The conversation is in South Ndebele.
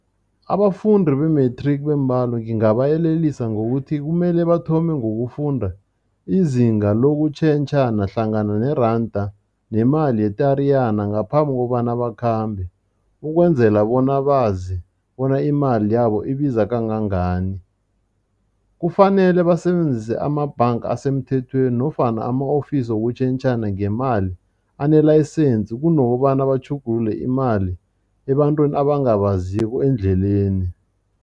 Abafundi be-matric bembalo ngingabayelelisa ngokuthi kumele bathome ngokufunda izinga lokutjhentjhana hlangana neranda nemali ye-Tariyana ngaphambi kobana bakhambe, ukwenzela bona bazi bona imali yabo ibiza kangangani. Kufanele basebenzise amabhanga asemthethweni nofana ama-ofisi wokutjhentjhana ngemali anelayisensi kunokobana batjhugulule imali ebantwini abangabaziko endleleni.